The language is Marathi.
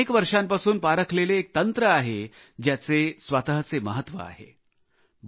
हे अनेक वर्षांपासून पारखलेले एक तंत्र आहे ज्याचे स्वतःचे महत्व आहे